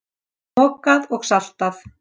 Mokað og saltað.